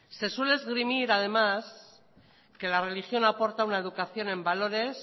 se suele esgrimir además que la religión aporta una educación en valores